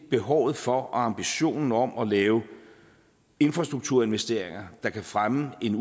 behovet for og ambitionen om at lave infrastrukturinvesteringer der kan fremme en